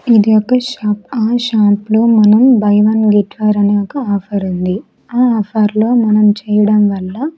ఇది ఒక షాప్ ఆ షాప్ లో మనం బై వన్ గిట్వార్ అనే ఒక ఆఫర్ ఉంది ఆ ఆఫర్ లో మనం చేయడం వల్ల.